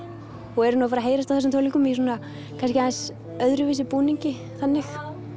og eru að fara að heyrast á þessum tónleikum í svona kannski aðeins öðruvísi búningi þannig